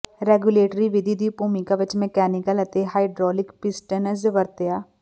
regulatory ਵਿਧੀ ਦੀ ਭੂਮਿਕਾ ਵਿੱਚ ਮਕੈਨੀਕਲ ਅਤੇ ਹਾਈਡ੍ਰੌਲਿਕ ਪਿਸਟਨਜ਼ ਵਰਤਿਆ